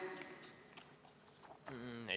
Miks?